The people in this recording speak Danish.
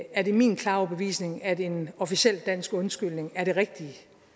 er det min klare overbevisning at en officiel dansk undskyldning er det rigtige